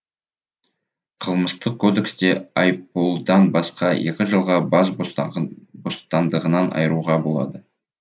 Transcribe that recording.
қылмыстық кодексте айыппұлдан басқа екі жылға бас бостандығынан айыруға болады